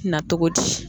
Na cogo di